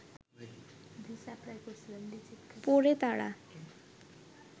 পড়ে তাঁরা